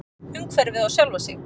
Umhverfið og sjálfa sig.